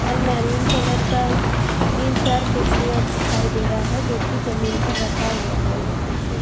और maroon colour का तीन चार कुर्सीयाँ दिखाई दे रहा है जो की जमीन पर रखा हुआ है यह कुर्सी--